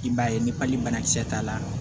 I b'a ye ni banakisɛ t'a la